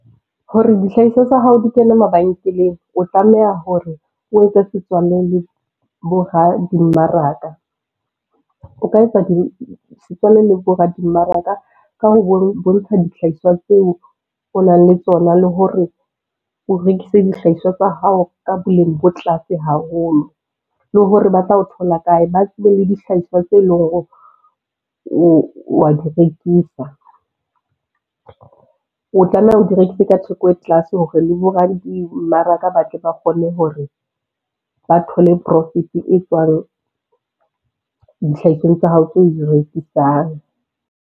Hore dihlahiswa tsa hao di kene mabenkeleng, o tlameha hore o etse setswalle le boradimmaraka. O ka etsa setswalle le boradimmaraka ka ho bontsha dihlahiswa tseo o nang le tsona le hore o rekise dihlahiswa tsa hao ka boleng bo tlase haholo, le hore ba tla o thola kae, ba tsebe le dihlahiswa tse leng hore wa di rekisa. O tlameha o di rekise ka theko e tlase hore le boradimmaraka ba tle ba kgone hore ba thole profit e tswang dihlahisweng tsa hao tso di rekisang.